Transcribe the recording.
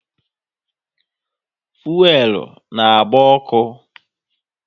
Fuelu na agba ọkụ